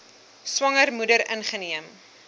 swanger moeder ingeneem